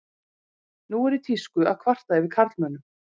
Nú er í tísku að kvarta yfir karlmönnum.